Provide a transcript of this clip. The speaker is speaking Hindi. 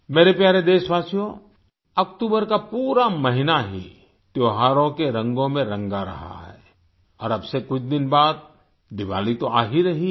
मेरे प्यारे देशवासियो अक्टूबर का पूरा महीना ही त्योहारों के रंगों में रंगा रहा है और अब से कुछ दिन बाद दिवाली तो आ ही रही है